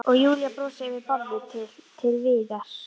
Og Júlía brosir yfir borðið til- Til Viðars.